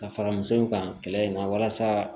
Ka fara muso in kan kɛlɛ in na walasa